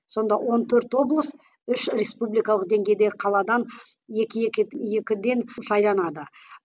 сонда он төрт облыс үш республикалық деңгейдегі қаладан екі екі екіден сайланады